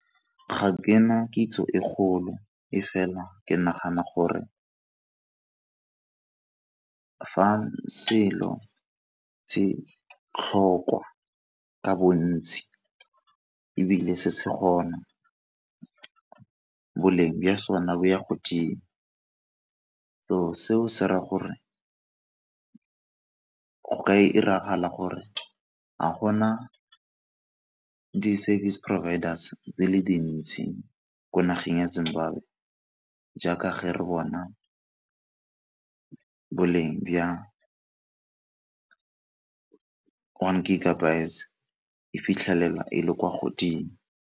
Ga ke na kitso e kgolo e fela ke nagana gore fa selo se tlhokwa ka bontsi ebile se se gona boleng ba sone bo ya godimo, so seo se raya gore go ka 'iragala gore, ga gona di-service providers di le dintsi ko nageng ya Zimbabwe jaaka ge re bona boleng ba one gigabyte e fitlhelelwa e le kwa godimo.